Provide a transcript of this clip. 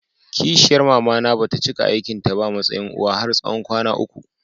Ƙishiyar mamana bata cika aikin ta ba a matsayin uwa har na tsawon kwana uku.